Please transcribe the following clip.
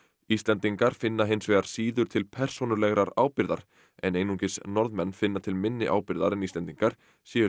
Íslendingar finna hins vegar síður til persónulegrar ábyrgðar en einungis Norðmenn finna til minni ábyrgðar en Íslendingar séu